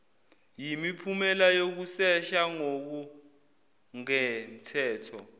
yimiphumela yokusesha ngokungemthetho